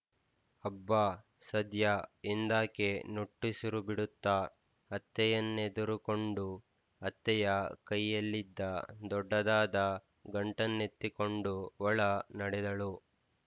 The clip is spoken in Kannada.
ಅಬ್ಬ ಸದ್ಯ ಎಂದಾಕೆ ನುಟ್ಟುಸಿರುಬಿಡುತ್ತಾ ಅತ್ತೆಯನ್ನೆದುರುಕ್ಕೊಂಡು ಅತ್ತೆಯ ಕೈಯಲ್ಲಿದ್ದ ದೊಡ್ಡದಾದ ಗಂಟನ್ನೆತ್ತಿಕೊಂಡು ಒಳ ನಡೆದಳು